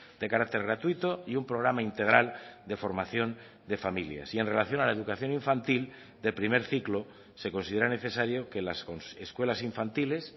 de carácter gratuito y un programa integral de formación de familias y en relación a la educación infantil de primer ciclo se considera necesario que las escuelas infantiles